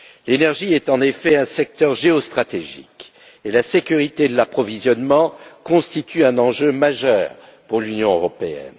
L'énergie est, en effet, un secteur géostratégique et la sécurité de l'approvisionnement constitue un enjeu majeur pour l'Union européenne.